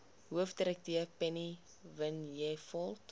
hoofdirekteur penny vinjevold